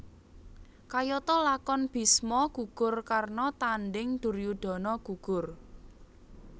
Kayata lakon Bisma gugur Karna Tanding Duryudana Gugur